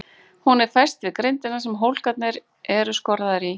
Hún er fest við grindina sem hólkarnir eru skorðaðir í.